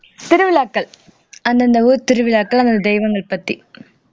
திருவிழாக்கள் அந்தந்த ஊர் திருவிழாக்கள் அந்த தெய்வங்கள் பத்தி